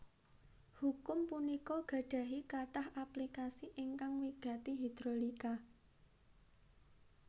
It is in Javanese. Hukum punika gadahi katah aplikasi ingkang wigati hidrolika